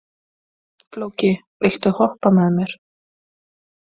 Flóki, viltu hoppa með mér?